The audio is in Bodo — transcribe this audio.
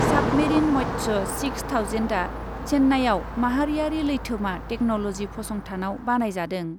साबमेरिन मत्सय सिक्स थावजेन्डआ चेन्नाइयाव माहारियारि लैथोमा टेक्न'ल'जि फसंथानाव बानायजादों ।